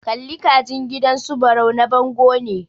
Kalli ka jin gidan su Barau na bango ne.